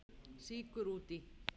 Sykur út í.